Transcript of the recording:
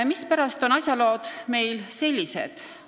Mispärast on asjalood meil sellised?